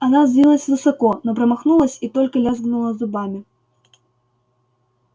она взвилась высоко но промахнулась и только лязгнула зубами